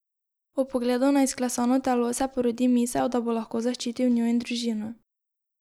Ob pogledu na izklesano telo se porodi misel, da bo lahko zaščitil njo in družino.